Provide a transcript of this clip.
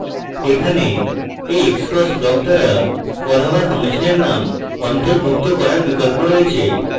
এখানে এই xcos block দ্বারা কল হওয়া ফাংশনের name অন্তর্ভুক্ত করার বিকল্প রয়েছে